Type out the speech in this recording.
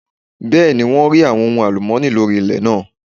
Bẹ́ẹ̀ni wọ́n rí àwọn ohun àlùmọ́nì lórí ilẹ̀ náà.